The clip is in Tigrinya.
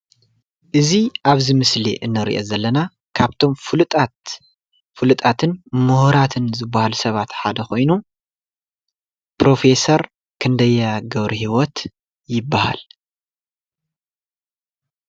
እዚ አብዚ ምስሊ እንሪኦ ዘለና ካብቶም ፍሉጣት ፍሉጣትን ምሁራትን ዝበሃሉ ሰባት ሓደ ኮይኑ ፕሮፋሰር ክንደያ ገብረሂወት ይበሃል።